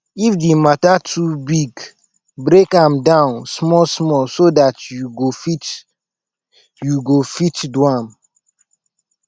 if di mata too big break am down small small so dat yu go fit yu go fit do am